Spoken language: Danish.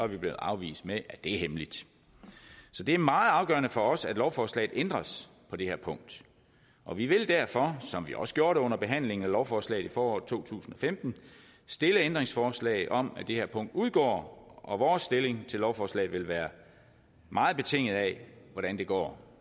vi blevet afvist med det at det er hemmeligt så det er meget afgørende for os at lovforslaget ændres på det her punkt og vi vil derfor som vi også gjorde det under behandlingen af lovforslaget i foråret to tusind og femten stille ændringsforslag om at det her punkt udgår og vores stilling til lovforslaget vil være meget betinget af hvordan det går